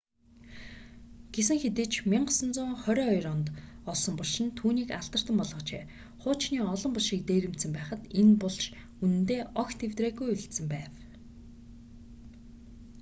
гэсэн хэдий ч 1922 онд олсон булш нь түүнийг алдартан болгожээ хуучны олон булшийг дээрэмдсэн байхад энэ булш үнэндээ огт эвдрээгүй үлдсэн байв